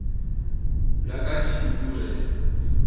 la ka ke dudu re